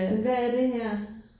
Men hvad er det her?